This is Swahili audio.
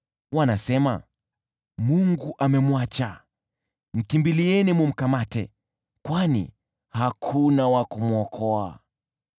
Wanasema, “Mungu amemwacha, mkimbilieni mkamkamate, kwani hakuna wa kumwokoa.”